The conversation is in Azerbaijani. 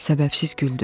Səbəbsiz güldü.